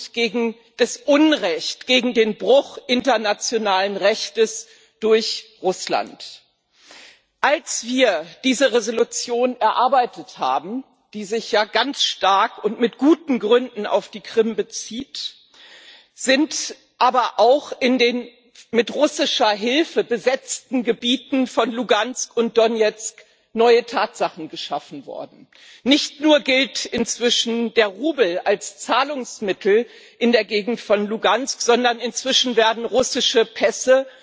gegen das Unrecht, gegen den Bruch internationalen Rechts durch Russland solidarisch sind. Als wir diese Entschließung erarbeitet haben, die sich ja ganz stark und mit guten Gründen auf die Krim bezieht, sind aber auch in den mit russischer Hilfe besetzten Gebieten von Luhansk und Donezk neue Tatsachen geschaffen worden. Nicht nur gilt inzwischen der Rubel als Zahlungsmittel in der Gegend von Luhansk, sondern inzwischen werden russische Pässe